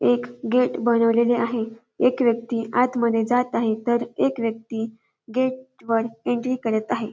एक गेट बनवलेले आहे एक व्यक्ती आत मध्ये जात आहे तर एक व्यक्ती गेट वर एन्ट्री करत आहे.